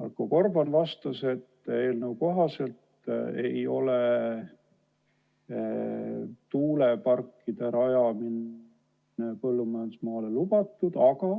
Marko Gorban vastas, et eelnõu kohaselt ei ole tuuleparkide rajamine põllumajandusmaale lubatud, aga